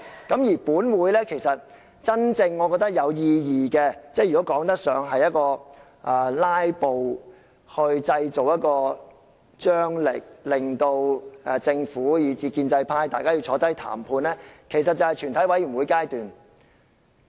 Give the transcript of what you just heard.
我認為本會真正有意義的辯論，或說得上是透過"拉布"製造張力，令政府以至建制派願意共同坐下來談判的，其實便是全體委員會階段。